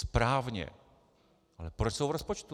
Správně, ale proč jsou v rozpočtu?